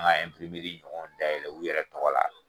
An ga ɲɔgɔn dayɛlɛ u yɛrɛ tɔgɔ la